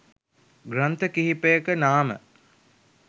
ග්‍රන්ථ කිහිපයක නාම